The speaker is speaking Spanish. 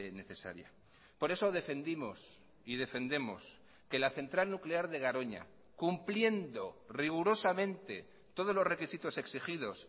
necesaria por eso defendimos y defendemos que la central nuclear de garoña cumpliendo rigurosamente todos los requisitos exigidos